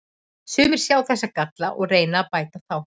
Sumir sjá þessa galla og reyna að bæta þá.